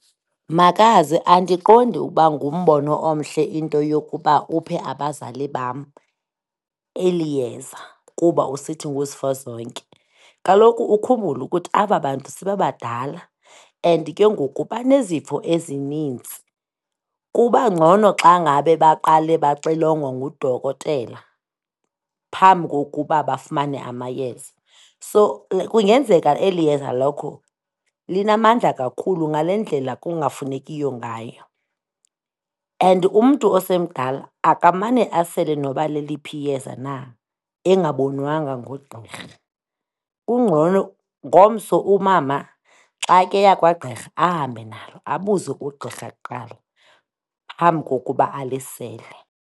Makazi, andiqondi ukuba ngumbono omhle into yokuba uphe abazali bam eli yeza kuba usithi nguzifozonke. Kaloku ukhumbule ukuthi aba bantu sebebadala and ke ngoku banezifo ezinintsi. Kuba ngcono xa ngabe baqale baxilongwa ngudokotela phambi kokuba bafumane amayeza. So, kungenzeka eli yeza lakho linamandla kakhulu ngale ndlela kungafunekiyo ngayo and umntu osemdala akamane asele noba leliphi iyeza na engabonwanga ngugqirha. Kungcono ngomso umama xa ke eya kwagqirha ahambe nalo, abuze kugqirha kuqala phambi kokuba alisele.